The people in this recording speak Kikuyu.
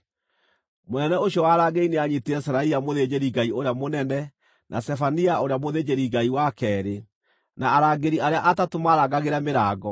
Mũnene ũcio wa arangĩri nĩanyiitire Seraia mũthĩnjĩri-Ngai ũrĩa mũnene, na Zefania ũrĩa mũthĩnjĩri-Ngai wa keerĩ, na arangĩri arĩa atatũ maarangagĩra mĩrango.